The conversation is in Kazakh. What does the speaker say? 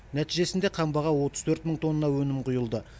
нәтижесінде қамбаға отыз төрт мың тонна өнім құйылды